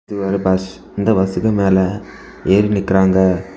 இது ஒரு பஸ் இந்த பாஸ்க்கு மேல ஏறி நிக்குறாங்க.